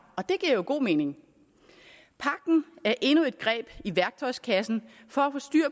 og det giver jo god mening pagten er endnu et greb i værktøjskassen for